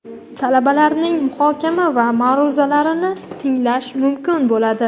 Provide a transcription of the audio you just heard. talabalarining muhokama va ma’ruzalarini tinglash mumkin bo‘ladi.